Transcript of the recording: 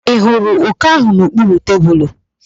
Ị hụrụ òké ahụ n'okpuru tebulu?